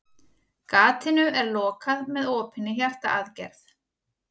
Gatinu er lokað með opinni hjartaaðgerð.